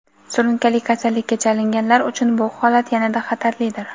surunkali kasallikka chalinganlar) uchun bu holat yanada xatarlidir.